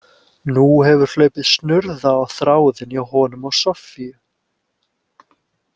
Nú hefur hlaupið snurða á þráðinn hjá honum og Soffíu.